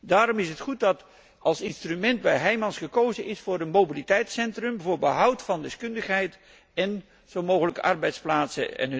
Daarom is het goed dat als instrument bij Heijmans gekozen is voor een mobiliteitscentrum, voor behoud van deskundigheid en zo mogelijk arbeidsplaatsen.